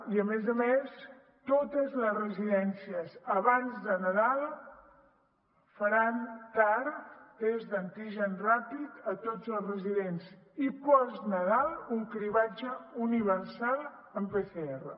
i a més a més totes les residències abans de nadal faran tar tests d’antígens ràpids a tots els residents i post nadal un cribratge universal amb pcr